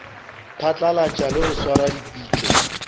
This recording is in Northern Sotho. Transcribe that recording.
phatlalatša le go swara dipitšo